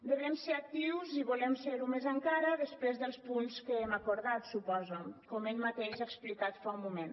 devem ser actius i volem serho més encara després dels punts que hem acordat suposo com ell mateix ha explicat fa un moment